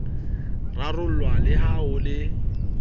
rarollwa le ha ho le